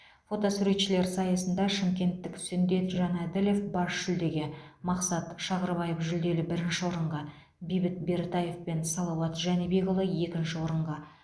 фотосуретшілер сайысында шымкенттік сүндет жанаділов бас жүлдеге мақсат шағырбаев жүлделі бірінші орынға бейбіт бертаев пен салауат жәнібекұлы екінші орынға